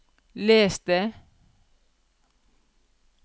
les det